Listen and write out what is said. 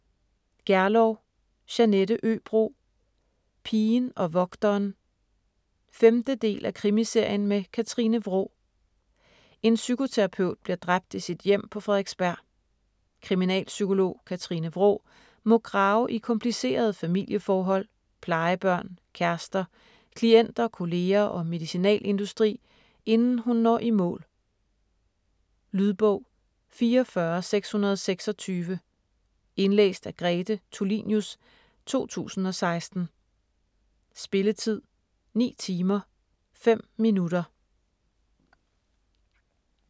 Gerlow, Jeanette Øbro: Pigen og vogteren 5. del af Krimiserien med Katrine Wraa. En psykoterapeut bliver dræbt i sit hjem på Frederiksberg. Kriminalpsykolog Katrine Wraa må grave i komplicerede familieforhold, plejebørn, kærester, klienter, kolleger og medicinalindustri, inden hun når i mål. Lydbog 44626 Indlæst af Grete Tulinius, 2016. Spilletid: 9 timer, 5 minutter.